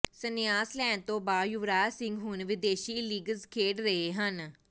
ਸੰਨਿਆਸ ਲੈਣ ਤੋਂ ਬਾਅਦ ਯੁਵਰਾਜ ਸਿੰਘ ਹੁਣ ਵਿਦੇਸ਼ੀ ਲੀਗਜ਼ ਖੇਡ ਰਹੇ ਹਨ